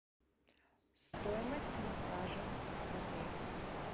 стоимость массажа в отеле